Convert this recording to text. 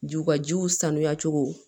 Jiw ka jiw sanuya cogo